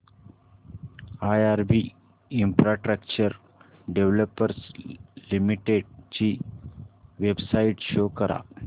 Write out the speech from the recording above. IRB infrastructure developers limited ची website show करा